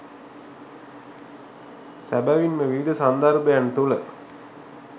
සැබැවින්ම විවිධ සන්දර්භයන් තුළ